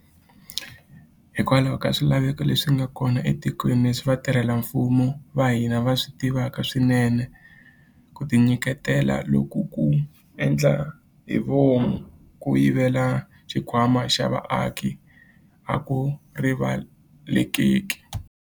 Hikokwalaho ka swilaveko leswi nga kona laha etikweni, leswi vatirhela mfumo va hina va swi tivaka swinene, ku tinyiketela loku ko endla hi vomu ko yivela xikhwama xa vaaki a ku rivaleleki.